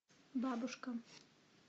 бабушка